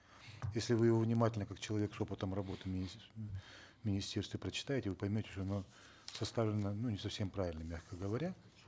если вы его внимательно как человек с опытом работы в министерстве прочитаете вы поймете что оно составлено ну не совсем правильно мягко говоря